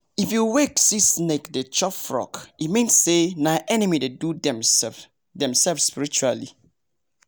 if you waka see snake dey chop frog e mean say nah enemy dey do dem sef spiritually